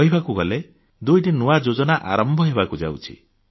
କହିବାକୁ ଗଲେ ଦୁଇଟି ନୂଆ ଯୋଜନା ଆରମ୍ଭ ହେବାକୁ ଯାଉଛି